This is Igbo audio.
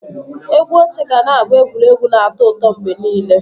Egwú oche ga na-abụ egwuregwu na atọ ụtọ mgbe niile.